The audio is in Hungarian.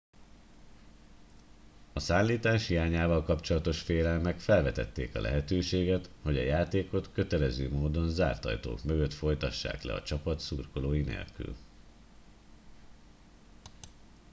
a szállítás hiányával kapcsolatos félelmek felvetették a lehetőséget hogy a játékot kötelező módon zárt ajtók mögött folytassák le a csapat szurkolói nélkül